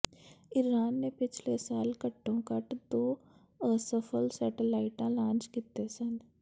Iran ਨੇ ਪਿਛਲੇ ਸਾਲ ਘੱਟੋ ਘੱਟ ਦੋ ਅਸਫਲ ਸੈਟੇਲਾਈਟ ਲਾਂਚ ਕੀਤੇ ਸਨ